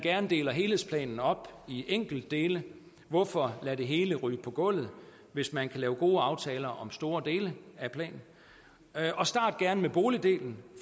deler helhedsplanen op i enkeltdele hvorfor lade det hele ryge på gulvet hvis man kan lave gode aftaler om store dele af planen start gerne med boligdelen